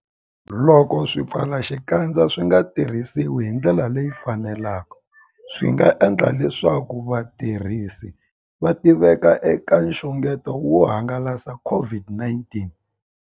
Loko swipfalaxikandza swi nga tirhisiwi hi ndlela leyi faneleke, swi nga endla leswaku vatirhisi va tiveka eka nxungeto wo hangalasa COVID-19.